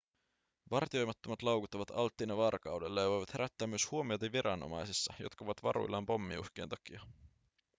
vartioimattomat laukut ovat alttiina varkaudelle ja voivat herättää myös huomiota viranomaisissa jotka ovat varuillaan pommiuhkien takia